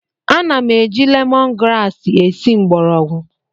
Ana m eji lemon grasi esi mgbọrọgwụ